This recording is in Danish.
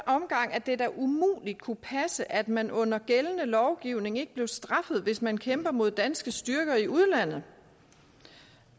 at det da umuligt kunne passe at man under gældende lovgivning ikke bliver straffet hvis man kæmper mod danske styrker i udlandet